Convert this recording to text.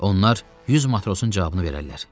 Onlar 100 matrosun cavabını verərlər.